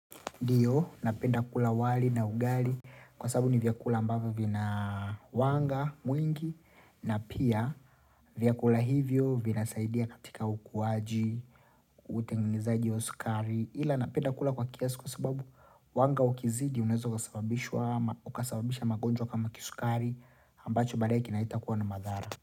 Ndiyo, napenda kula wali na ugali kwa sababu ni vyakula ambavyo vina wanga mwingi na pia vyakula hivyo vinasaidia katika ukuaji, utengenezaji wa sukari ila napenda kula kwa kiasi kwa sababu wanga ukizidi uneweza ukasababisha ukasababisha magonjwa kama ya kisukari ambayo baadaye inaweza kuwa na madhara.